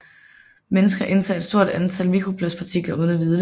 Mennesker indtager et stort antal mikroplastpartikler uden at vide det